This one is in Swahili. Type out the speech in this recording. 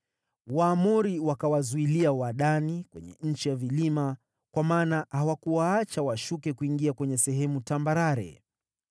Waamori wakawazuilia Wadani kwenye nchi ya vilima, kwa maana hawakuwaacha washuke kuingia kwenye sehemu tambarare.